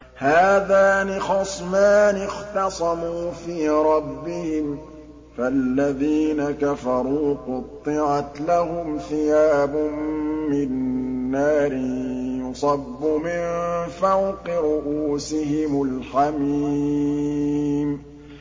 ۞ هَٰذَانِ خَصْمَانِ اخْتَصَمُوا فِي رَبِّهِمْ ۖ فَالَّذِينَ كَفَرُوا قُطِّعَتْ لَهُمْ ثِيَابٌ مِّن نَّارٍ يُصَبُّ مِن فَوْقِ رُءُوسِهِمُ الْحَمِيمُ